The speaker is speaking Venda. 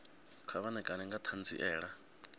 kha vha ṋekane nga ṱhanziela